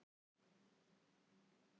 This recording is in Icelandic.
Selfyssingar fá tvo erlenda leikmenn